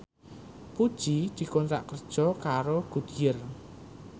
Puji dikontrak kerja karo Goodyear